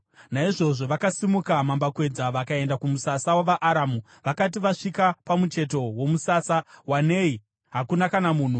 Naizvozvo vakasimuka mambakwedza vakaenda kumusasa wavaAramu. Vakati vasvika pamucheto womusasa, wanei hakuna kana munhu,